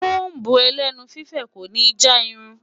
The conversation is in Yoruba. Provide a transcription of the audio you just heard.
Kóm̀bù ẹlẹ́nu fífẹ̀ kò ní já irun.